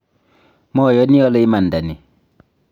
mayani ale imanda ni